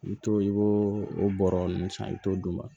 I bi t'o i b'o o bɔrɔ nunnu san i t'o d'u ma